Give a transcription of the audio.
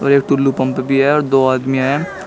एक टुल्लू पंप भी हैं और दो आदमी हैं।